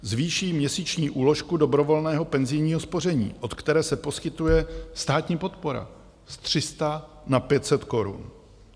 Zvýší měsíční úložku dobrovolného penzijního spoření, od které se poskytuje státní podpora, z 300 na 500 korun.